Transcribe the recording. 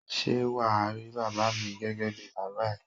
Ṣé wà á rí bàbá mi gẹ́gẹ́ bí bàbá ẹ?